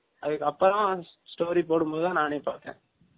அதுக்கு அப்புரம் story போடும் போது தான் நானே பாதேன்